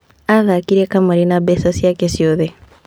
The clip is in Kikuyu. Aathakire kamarĩ na mbeca ciake ciothe.